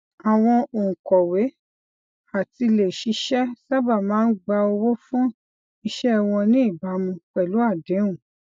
àwọn òǹkọwé àtiléṣiṣẹ sábà máa ń gba owó fún iṣẹ wọn ní ìbámu pẹlú àdéhùn